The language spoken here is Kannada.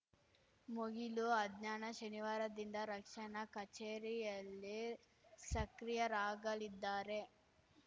ಮುಗಿಲು ಅಜ್ಞಾನ ಶನಿವಾರದಿಂದ ರಕ್ಷಣಾ ಕಚೇರಿಯಲ್ಲಿ ಸಕ್ರಿಯರಾಗಲಿದ್ದಾರೆ